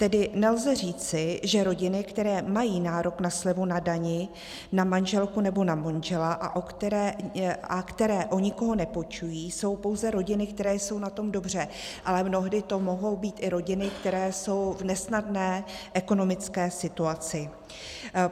Tedy nelze říci, že rodiny, které mají nárok na slevu na dani na manželku nebo na manžela a které o nikoho nepečují, jsou pouze rodiny, které jsou na tom dobře, ale mnohdy to mohou být i rodiny, které jsou v nesnadné ekonomické situaci.